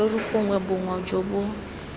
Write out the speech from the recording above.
serori gongwe boma jo bo